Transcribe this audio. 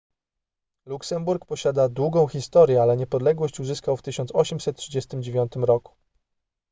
luksemburg posiada długą historię ale niepodległość uzyskał w 1839 r